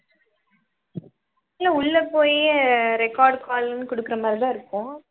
இல்லை உள்ளே போயி record call ன்னு கொடுக்கிற மாதிரிதான் இருக்கும்